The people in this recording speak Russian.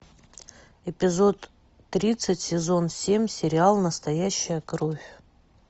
эпизод тридцать сезон семь сериал настоящая кровь